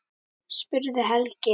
spurði Helgi.